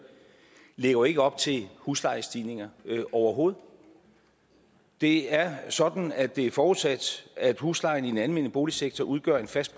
lægger jo ikke op til huslejestigninger overhovedet det er sådan at det er forudsat at huslejen i den almene boligsektor udgør en fast